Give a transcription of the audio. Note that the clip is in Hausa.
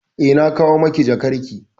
Eh, na kawo miki jakarki.